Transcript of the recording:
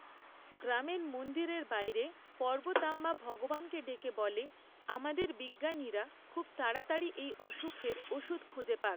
গ্রামের মন্দিরের বাইরে পর্বতাম্মা ভগবানকে ডেকে বলে, আমাদের বিজ্ঞানীরা খুব তাড়াতাড়ি এই অসুখের ওষুধ খুঁজে পাক!